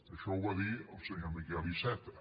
això ho va dir el senyor miquel iceta